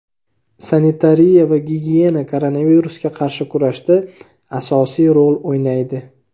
sanitariya va gigiyena koronavirusga qarshi kurashda asosiy rol o‘ynaydi.